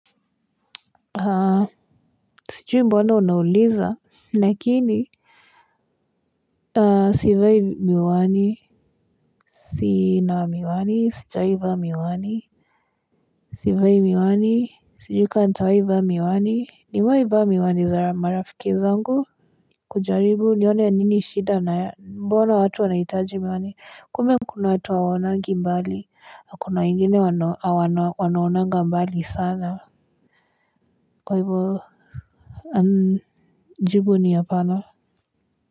Sijui mbona unauliza lakini sivai miwani. Sina miwani, sijawai vaa miwani. Sivai miwani. Sijui kama nitawai vaa miwani, nime mwai vaa miwani za marafiki zangu. Kujaribu nione ya nini shida na mbona watu wanahitaji miwani, kumbe kuna watu hawonangi mbali, na kuna ingine wanaonanga mbali sana. Kwa hivyo jubu ni hapana.